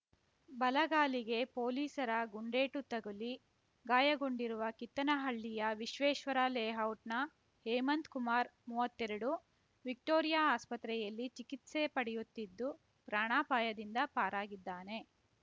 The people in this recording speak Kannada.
ಬಲಗಾಲಿಗೆ ಪೊಲೀಸರ ಗುಂಡೇಟು ತಗುಲಿ ಗಾಯಗೊಂಡಿರುವ ಕಿತ್ತನಹಳ್ಳಿಯ ವಿಶ್ವೇಶ್ವರ ಲೇಔಟ್‌ನ ಹೇಮಂತ್ ಕುಮಾರ್ ಮೂವತ್ತೆರಡು ವಿಕ್ಟೋರಿಯಾ ಆಸ್ಪತ್ರೆಯಲ್ಲಿ ಚಿಕಿತ್ಸೆ ಪಡೆಯುತ್ತಿದ್ದು ಪ್ರಾಣಾಪಾಯದಿಂದ ಪಾರಾಗಿದ್ದಾನೆ